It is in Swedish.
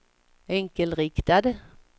enkelriktad